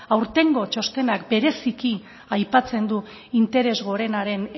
aurtengo txostenak bereziki aipatzen du interes gorenaren